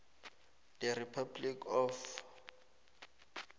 the republic of